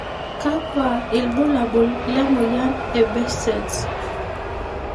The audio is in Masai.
kakwa ibulabul le moyian e Behcets?